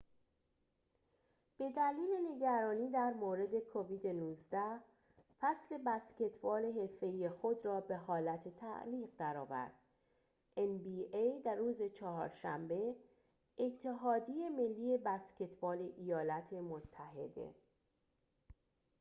روز چهارشنبه، اتحادیه ملی بسکتبال ایالات متحده nba به دلیل نگرانی در مورد کووید-19، فصل بسکتبال حرفه‌ای خود را به حالت تعلیق درآورد